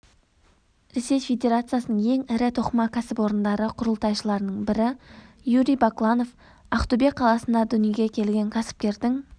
ресей федерациясының ең ірі тоқыма кәсіпорындары құрылтайшыларының бірі юрий бакланов ақтөбе қаласында дүниеге келген кәсіпкердің